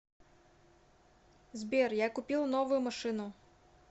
сбер я купил новую машину